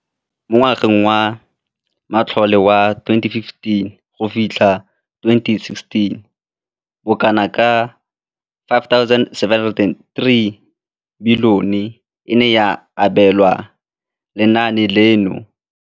Mo ngwageng wa matlole wa 2015,16, bokanaka R5 703 bilione e ne ya abelwa lenaane leno.